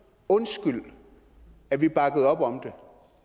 undskyld at vi bakkede op om